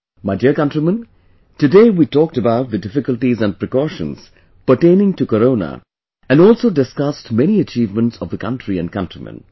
My dear countrymen, today we talked about the difficulties and precautions pertaining to Corona and also discussed many achievements of the country and countrymen